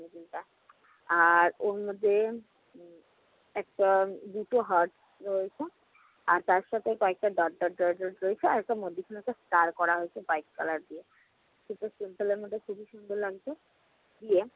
আর অন্যতে উম একটা দুটো heart রয়েছে। আর তার সাথে কয়েকটা dot dot dot dot রয়েছে, আর একটা মধ্যেখানে একটা star করা হয়েছে white color দিয়ে। সেটা simple এর মধ্যে খুবই সুন্দর লাগছে। দিয়ে